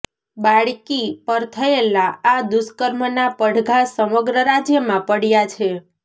બાળકી પર થયેલા આ દુષ્કર્મનાં પડઘા સમગ્ર રાજ્યમાં પડ્યા છે